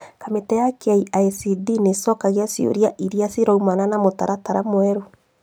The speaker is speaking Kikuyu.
Kamĩtĩ ya KICD nĩcokagia ciũria iria ciroimana na mũtaratara mwerũ